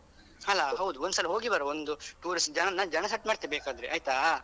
ಅಲಾ ಹೌದು ಒಂದ್ಸಲ ಹೋಗಿ ಬರುವ ಒಂದು tourist ಜನ ಜನ set ಮಾಡ್ತೆ ಬೇಕಾದ್ರೆ ಆಯ್ತಾ.